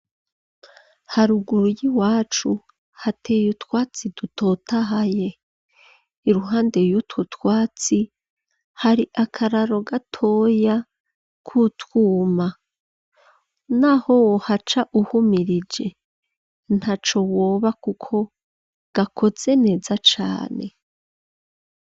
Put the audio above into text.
Haruguru y'iwacu hateye utwatsi dutotahaye, iruhande y'utwo twatsi hari akararo gatoya k'utwuma, n'aho wohaca uhumirije ntaco woba kuko gakoze neza cane.